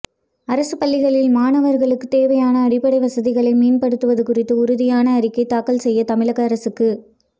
அரசுப் பள்ளிகளில் மாணவர்களுக்குத் தேவையான அடிப்படை வசதிகளை மேம்படுத்துவது குறித்து உறுதியான அறிக்கை தாக்கல் செய்ய தமிழக அரசுக்கு